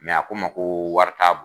a ko' ma ko wari t' bon.